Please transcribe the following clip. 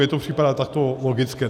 Mně to připadá takto logické.